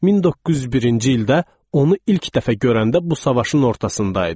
1901-ci ildə onu ilk dəfə görəndə bu savaşın ortasında idi.